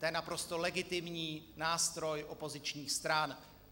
To je naprosto legitimní nástroj opozičních stran.